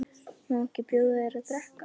Má ekki bjóða þér að drekka?